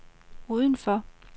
udenfor